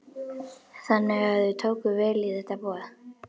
Þannig að þau tóku vel í þetta boð?